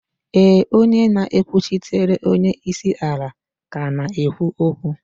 éè, onye na-ekwuchitere onye isi ala ka na-ekwu okwu